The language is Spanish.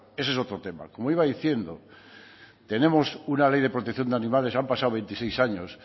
ese es otro tema como iba diciendo tenemos una ley de protección de animales han pasado veintiséis años